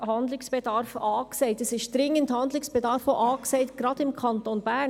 Es gibt einen dringenden Handlungsbedarf, gerade auch im Kanton Bern.